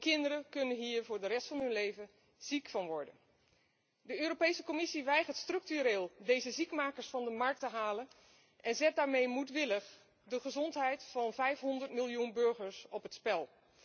Kinderen kunnen hier voor de rest van hun leven ziek van worden. De Europese Commissie weigert structureel deze ziekmakers van de markt te halen en zet daarmee moedwillig de gezondheid van vijfhonderd miljoen burgers op het spel.